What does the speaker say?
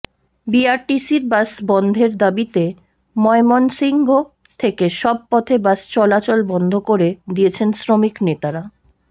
বিআরটিসির bus বন্ধের দাবিতে ময়মনসিংহ থেকে সব পথে বাস চলাচল বন্ধ করে দিয়েছেন শ্রমিকনেতারা